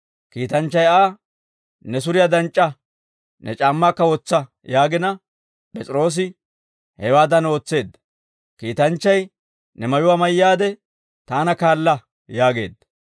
Kiitanchchay Aa, «Ne suriyaa danc'c'a; ne c'aammaakka wotsa» yaagina, P'es'iroosi hewaadan ootseedda; kiitanchchay, «Ne mayuwaa mayyaade taana kaala» yaageedda.